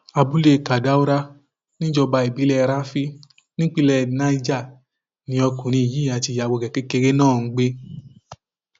abúlé kadaura níjọba ìbílẹ rafi nípínlẹ niger ni ọkùnrin yìí àti ìyàwó rẹ kékeré náà ń gbé